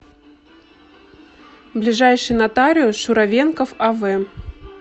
ближайший нотариус шуравенков ав